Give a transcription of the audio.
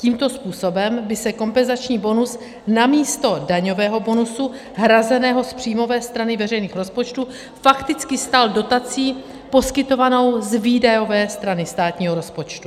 Tímto způsobem by se kompenzační bonus namísto daňového bonusu hrazeného z příjmové strany veřejných rozpočtů fakticky stal dotací poskytovanou z výdajové strany státního rozpočtu.